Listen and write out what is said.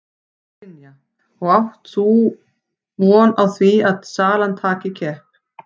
Brynja: Og áttu þá von á því að salan taki kipp?